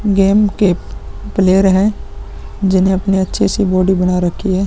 Game के player हैं जिन्हे अपनी अच्छे से बॉडी बना रखी है।